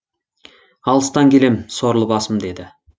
алыстан келем сорлы басым деді